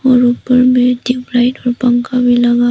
और ऊपर में ट्यूब लाइट और पंखा भी लगा--